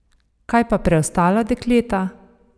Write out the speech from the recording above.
Kaj pa preostala dekleta?